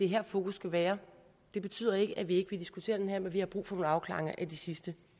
her fokus skal være det betyder ikke at vi ikke vil diskutere det her men vi har brug for nogle afklaringer af de sidste